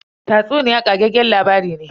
Tatsuniya ƙageggen labari ne.